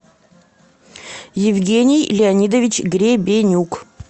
евгений леонидович гребенюк